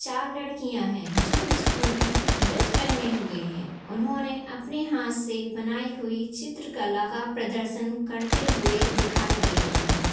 चार लड़किया है जो स्कूल की ड्रेस पहने हुए है उन्होने अपने हाथ से बनाई हुई चित्र कला का प्रदर्शन करते हुए दिखाई दे रहे है।